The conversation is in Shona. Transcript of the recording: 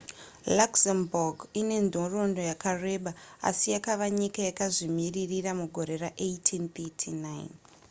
luxembourg ine nhoroondo yakareba asi yakava nyika yakazvimirira mugore ra1839